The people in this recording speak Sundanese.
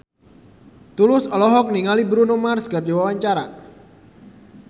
Tulus olohok ningali Bruno Mars keur diwawancara